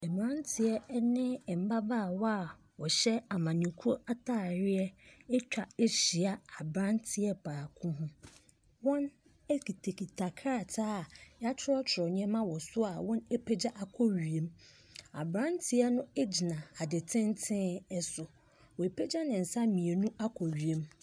Mmeranteɛ ɛne ɛmabaawa a wɔhyɛ amanyɔ kuo ataareɛ atwa ahyia aberanteɛ baako ho. Wɔn ekita kita krataa a yatwerɛtwerɛ nneɛma wɔ so a wɔn apagya akɔ wiem. Aberanteɛ no egyina ade tenten ɛso, wapagya ne nsa mmienu akɔ wiem.